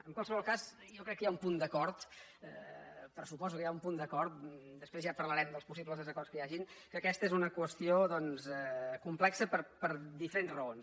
en qualsevol cas jo crec que hi ha un punt d’acord pressuposo que hi ha un punt d’acord després ja parlarem dels possibles desacords que hi hagin que aquesta és una qüestió doncs complexa per diferents raons